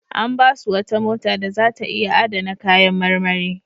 An ba su wata mota da za ta iya adana kayan marmari.